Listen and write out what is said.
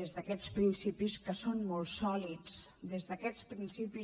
des d’aquests principis que són molt sòlids des d’aquests principis